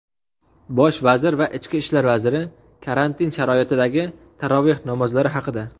Bosh vazir va ichki ishlar vaziri — karantin sharoitidagi taroveh namozlari haqida.